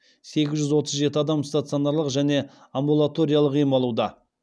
сегіз жүз отыз жеті адам стационарлық және амбулаториялық ем алуда